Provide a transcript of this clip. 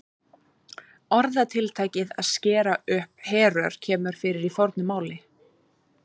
Orðatiltækið að skera upp herör kemur fyrir í fornu máli.